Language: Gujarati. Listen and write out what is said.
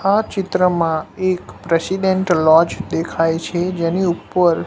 આ ચિત્રમાં એક પ્રેસિડેન્ટ લૉજ દેખાય છે જેની ઉપર--